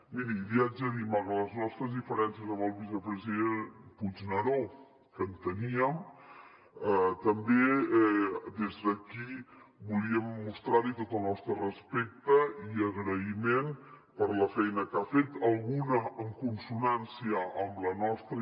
miri li he de dir malgrat les nostres diferències amb el vicepresident puigneró que en teníem també des d’aquí volíem mostrar li tot el nostre respecte i agraïment per la feina que ha fet alguna en consonància amb la nostra